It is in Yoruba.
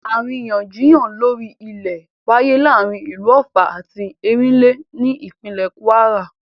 Àríyànjiyàn lórí ọ̀rọ̀ ilẹ̀ wááyé láàrin ìlú Ọ̀ffà àti Ẹ̀rínlé ní ìpínlè Kwara